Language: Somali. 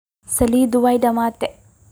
Salidhi waydamate.